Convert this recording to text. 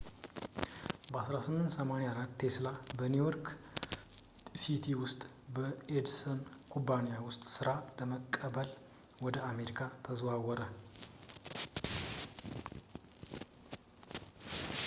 በ 1884 ቴስላ በኒው ዮርክ ሲቲ ውስጥ በኤዲሰን ኩባንያ ውስጥ ሥራ ለመቀበል ወደ አሜሪካ ተዛወረ